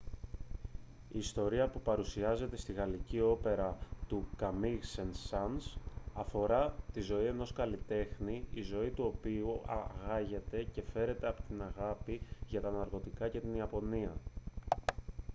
η ιστορία που παρουσιάζεται στη γαλλική όπερα του καμίγ σεν-σανς αφορά τη ζωή ενός καλλιτέχνη «η ζωή του οποίου άγεται και φέρεται από την αγάπη για τα ναρκωτικά και την ιαπωνία»